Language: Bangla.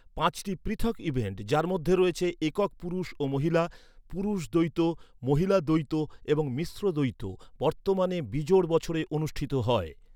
পাঁচটি পৃথক ইভেন্ট, যার মধ্যে রয়েছে একক পুরুষ ও মহিলা, পুরুষ দ্বৈত, মহিলা দ্বৈত এবং মিশ্র দ্বৈত, বর্তমানে বিজোড় বছরে অনুষ্ঠিত হয়।